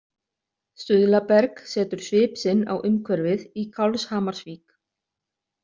Stuðlaberg setur svip sinn á umhverfið í Kálfshamarsvík.